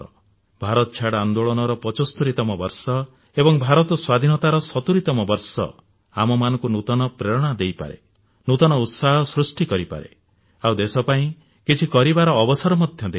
ଭାରତ ଛାଡ ଆନ୍ଦୋଳନର 75ତମ ବର୍ଷ ଏବଂ ଭାରତ ସ୍ୱାଧୀନତାର 70 ତମ ବର୍ଷ ଆମମାନଙ୍କୁ ନୂତନ ପ୍ରେରଣା ଦେଇପାରେ ନୂତନ ଉତ୍ସାହ ସୃଷ୍ଟି କରିପାରେ ଆଉ ଦେଶପାଇଁ କିଛି କରିବାର ଅବସର ମଧ୍ୟ ଦେଇପାରେ